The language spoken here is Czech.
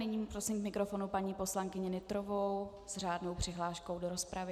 Nyní prosím k mikrofonu paní poslankyni Nytrovou s řádnou přihláškou do rozpravy.